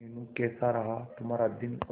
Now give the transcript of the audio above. मीनू कैसा रहा तुम्हारा दिन और